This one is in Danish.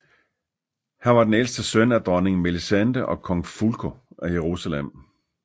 Han var den ældste søn af Dronning Melisende og Kong Fulko af Jerusalem